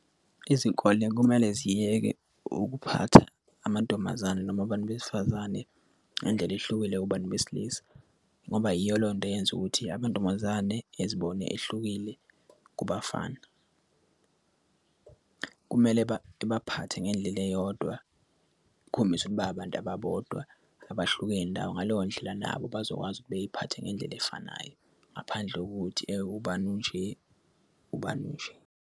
Izikole kumele ziyeke ukuphatha amantombazane noma abantu besifazane ngendlela ehlukile kubantu besilisa ngoba yiyo leyo nto eyenza ukuthi amantombazane ezibone ehlukile kubafana. Kumele baphathe ngendlela eyodwa kukhombise ukuba babantu ababodwa abahlukene ndawo ngaleyo ndlela nabo bazokwazi ukuthi bey'phathe ngendlela efanayo. Ngaphandle kokuthi ubani unje ubani unje.